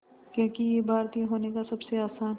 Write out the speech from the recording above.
क्योंकि ये भारतीय होने का सबसे आसान